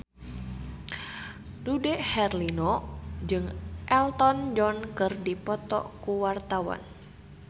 Dude Herlino jeung Elton John keur dipoto ku wartawan